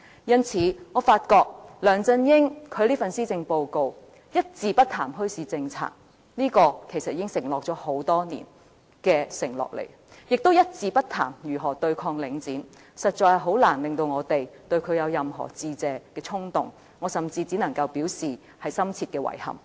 因此，我發覺梁振英的這份施政報告一字不談墟市政策，這項已經是多年前的承諾，亦一字不談如何對抗領展，實在難以令我們對他有任何致謝的衝動，我甚至只能表示深切的遺憾。